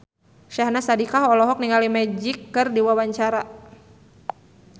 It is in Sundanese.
Syahnaz Sadiqah olohok ningali Magic keur diwawancara